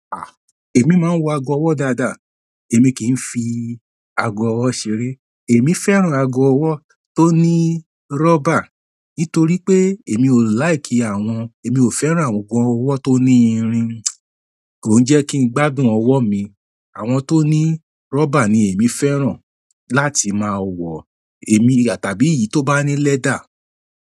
À, èmi máa ń wọ ago ọwọ́ dáadáa, èmi kì í fi ago ọwọ́ ṣeré. Èmi fẹ́ràn ago ọwọ́ tó ní rọ́bà nítorí pé èmi ò like àwọn, èmi ò fẹ́ràn àwọn ago ọwọ́ tó ní irin. Kò jẹ́ kí n gbágùn ọwọ́ mi. Àwọn to ni rubber èmi fẹ́ràn láti máa wọ tàbí ìyí to bá ni leather.